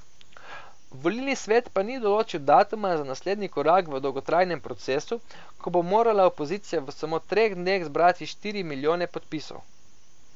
Volilni svet pa ni določil datuma za naslednji korak v dolgotrajnem procesu, ko bo morala opozicija v samo treh dneh zbrati štiri milijone podpisov.